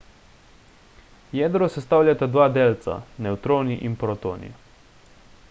jedro sestavljata dva delca – nevtroni in protoni